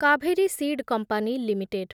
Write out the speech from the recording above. Kaveri seed company limited